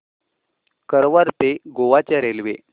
कारवार ते गोवा च्या रेल्वे